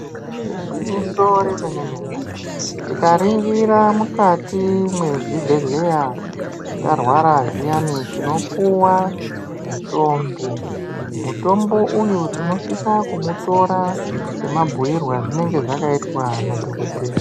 Igwinyiso remene mene tikaningira mukati mezvibhedhlera tarwara zviya tinopuwa mutombo , mutombo uyu tinosiswa kuutora semabhuyirwe azvinenge zvakaitwa nadhogodheya.